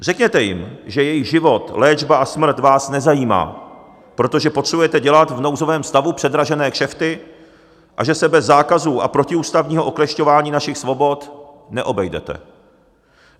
Řekněte jim, že jejich život, léčba a smrt vás nezajímá, protože potřebujete dělat v nouzovém stavu předražené kšefty, a že se bez zákazů a protiústavního oklešťování našich svobod neobejdete.